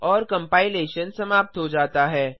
और कम्पाइलेशन समाप्त हो जाता है